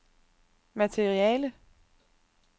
materiale